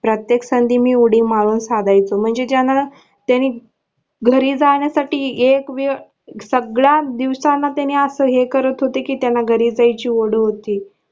प्रत्येक संधी मी उडी मारून फाडायचो म्हणजे ज्या त्यांनी घरी जाण्यासाठी एक वेळ सगळा दिवसाना त्यांनी असं करत होते कि त्यांना घरी जायची ओढ होती.